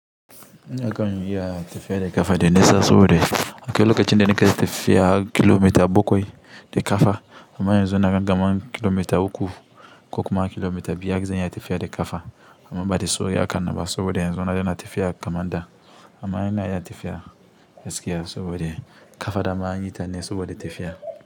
Ina kan iya ya tifiya da ƙafa da nesa, saboda a ko wace lokacin da na kusa tifiya kilomita bakwai da ƙafa, amma yanzu na gama kilomita uku ko kuma kilomita biyu har da yadda ya tifiya da ƙafa. Amma ba da sauƙi aka raba saboda yanzu na daina tifiya kamar da amma ina iya tafiya gaskiya saboda ƙafa da ma anyi ta ne saboda tafiya.